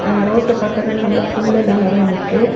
Road பக்கத்துல நல்ல புல் எல்லா நிறைய நிக்கு.